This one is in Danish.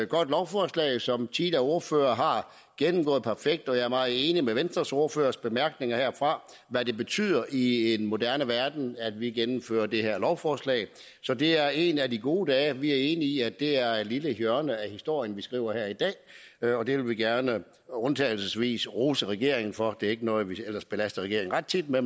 godt lovforslag som tidligere ordførere har gennemgået perfekt og jeg er meget enig i venstres ordførers bemærkninger herfra om hvad det betyder i en moderne verden at vi gennemfører det her lovforslag så det er en af de gode dage vi er enige i at det er et lille hjørne af historien vi skriver her i dag og det vil vi gerne undtagelsesvis rose regeringen for det er ikke noget vi ellers belaster regeringen ret tit med